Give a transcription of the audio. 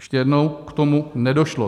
Ještě jednou: K tomu nedošlo.